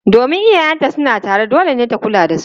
Domin iyayenta suna raye, dole ne ta kula da su.